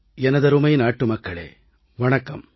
எனதருமை நாட்டு மக்களே வணக்கம்